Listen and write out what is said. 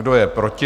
Kdo je proti?